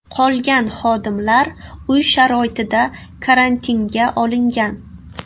Qolgan xodimlar uy sharoitida karantinga olingan.